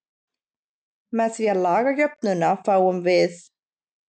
Með því að laga jöfnuna til fáum við: